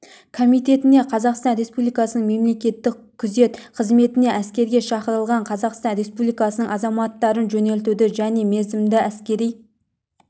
комитетіне қазақстан республикасының мемлекеттік күзет қызметіне әскерге шақырылған қазақстан республикасының азаматтарын жөнелтуді және мерзімді әскери